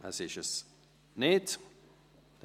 – Das ist nicht der Fall.